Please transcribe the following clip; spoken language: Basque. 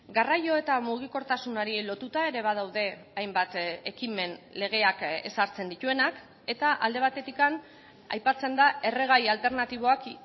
garraio eta mugikortasunari lotuta ere badaude hainbat ekimen legeak ezartzen dituenak eta alde batetik aipatzen da erregai alternatiboak